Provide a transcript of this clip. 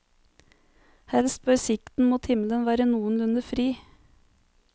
Helst bør sikten mot himmelen være noenlunde fri.